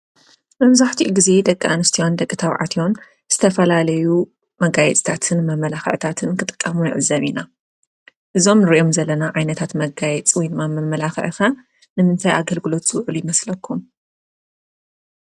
መብዛሕትኡ ግዘ ደቂ አንስትዮን ደቂ ተባዕትዮን ዝተፈላለዩ መጋየፅታትን መማላክዕታትን ክጥቀሙ ንዕዘብ ኢና። እዞም ንሪኦም ዘለና ዓይነታት መጋየፂ ወይ ድማ መማላኽዒ ኸ ንምንታይ አገልግሎት ዝውዕሉ ይመስለኩም?